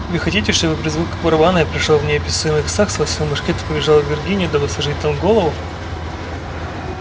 вы хотите чтобы при звуках барабана я пришёл в неописуемый экстаз схватил мушкет и побежал в виргинию дабы сложить там голову